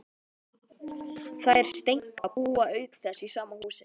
Þær Steinka búa auk þess í sama húsi.